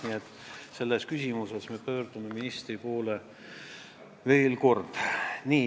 Nii et selles küsimuses me pöördume veel kord ministri poole.